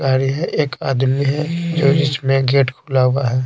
है एक आदमी हैजो जिसमें गेट खुला हुआ है।